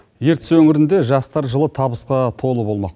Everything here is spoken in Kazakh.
ертіс өңірінде жастар жылы табысқа толы болмақ